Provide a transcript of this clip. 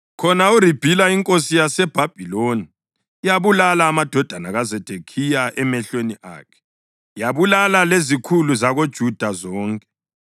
Khona eRibhila inkosi yaseBhabhiloni yabulala amadodana kaZedekhiya emehlweni akhe; yabulala lezikhulu zakoJuda zonke.